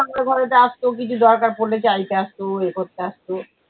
আমার ঘরেতেও আসতো কিছু দরকার পড়লে চাইতে আসতো ইয়ে করতে আসতো